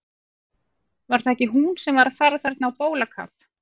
Var það ekki hún sem var að fara þarna á bólakaf?